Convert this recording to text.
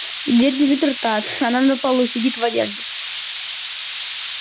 дверь не заперта она на полу сидит в одежде